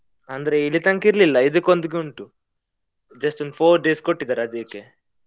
ಅಂದ್ರೆ ಇಲ್ಲಿ ತನಕ ಇರ್ಲಿಲ್ಲ ಇದ್ಕೆ ಒಂದುಗೆ ಉಂಟು, just ಒಂದ್ four days ಕೊಟ್ಟಿದಾರೆ ಅದಿಕ್ಕೆ.